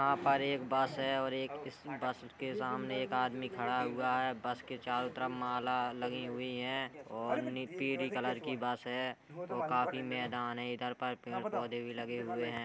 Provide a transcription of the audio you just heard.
यहां पर एक बस है और एक इस बस के सामने एक आदमी खड़ा हुआ है| बस के चारों तरफ माला लगीं हुईं हैं और नी पीरी कलर की बस है औ काफी मैदान है इधर पर पेंड़ पौधे भी लगे हुएँ हैं।